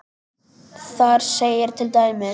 Þar segir til dæmis